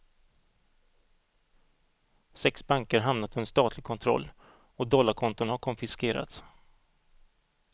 Sex banker har hamnat under statlig kontroll och dollarkonton har konfiskerats.